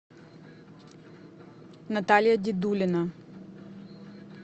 наталья дедулина